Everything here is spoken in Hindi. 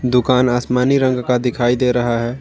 दुकान आसमानी रंग का दिखाई दे रहा है।